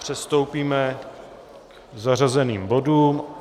Přistoupíme k zařazeným bodům.